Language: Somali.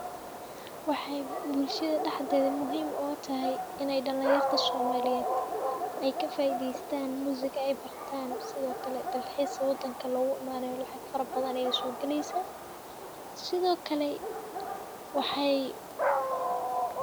Wexey bulsdha muhiim ugutahay in dalinyada somaliyed ey musigada bartan oo bulsdha ogafidestan inta lacag fara badan aya sogaleysa.